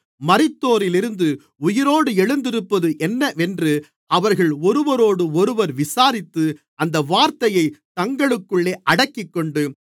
மரித்தோரிலிருந்து உயிரோடு எழுந்திருப்பது என்னவென்று அவர்கள் ஒருவரோடொருவர் விசாரித்து அந்த வார்த்தையைத் தங்களுக்குள்ளே அடக்கிக்கொண்டு